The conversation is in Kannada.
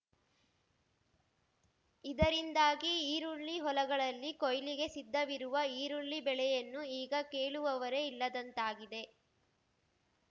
ಇದರಿಂದಾಗಿ ಈರುಳ್ಳಿ ಹೊಲಗಳಲ್ಲಿ ಕೋಯ್ಲಿಗೆ ಸಿದ್ಧವಿರುವ ಈರುಳ್ಳಿ ಬೆಳೆಯನ್ನು ಈಗ ಕೇಳುವವರೇ ಇಲ್ಲದಂತಾಗಿದೆ